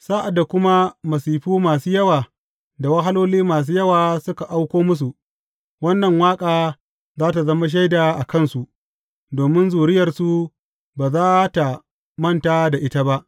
Sa’ad da kuma masifu masu yawa da wahaloli masu yawa suka auko musu, wannan waƙa za tă zama shaida a kansu, domin zuriyarsu ba za tă manta da ita ba.